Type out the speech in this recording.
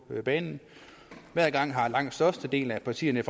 banen hver gang har langt størstedelen af partierne i